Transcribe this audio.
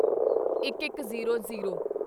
ਇੱਕਇੱਕਜ਼ੀਰੋ zero